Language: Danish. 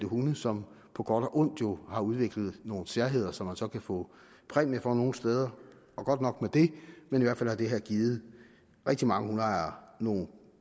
hunde som på godt og ondt jo har udviklet nogle særheder som man så kan få præmie for nogle steder og godt nok med det men i hvert fald har det her givet rigtig mange hundeejere nogle